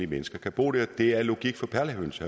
mennesker kan bo der det er logik for perlehøns